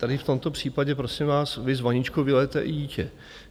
Tady v tomto případě, prosím vás, vy s vaničkou vylijete i dítě.